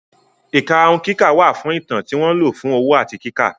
Ìkarahun kíkà wà fún Ìtàn tí wọ́n lò fún òwò àti kíkà.